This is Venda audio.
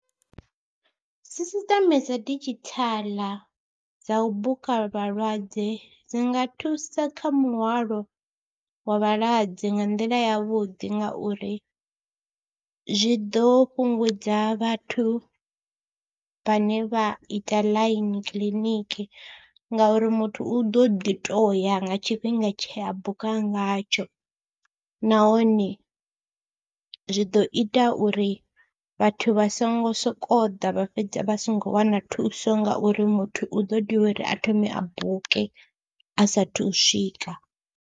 Sisiṱeme dza didzhithala dza u buka vhalwadze dzi nga thusa kha muhwalo wa vhalwadze nga nḓila yavhuḓi ngauri zwi ḓo fhungudza vhathu vhane vha ita ḽaini kiliniki ngauri muthu u ḓo ḓi tou ya nga tshifhinga tshe a buka ngatsho nahone zwi ḓo ita uri vhathu vha songo sokou ḓa vha fhedza vha songo wana thuso nga uri muthu u ḓo tea uri a thome a buke a saathu u swika.